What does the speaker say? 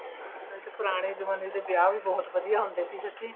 ਪੁਰਾਣੇ ਜਮਾਨੇ ਦੇ ਵਿਆਹ ਵੀ ਬਹੁਤ ਵਧੀਆ ਹੁੰਦੇ ਸੀ ਸੱਚੀ